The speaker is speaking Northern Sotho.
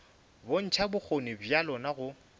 bontšha bokgoni bja lona go